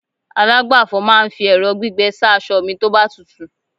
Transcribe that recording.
alagbafọ̀ ma n fi ẹrọ gbígbẹ sa asọ mi toba tutu